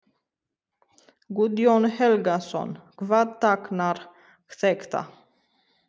Guðjón Helgason: Hvað táknar þetta?